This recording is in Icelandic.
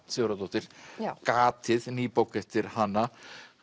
Sigurðardóttir gatið ný bók eftir hana